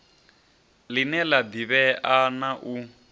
line la divhea na u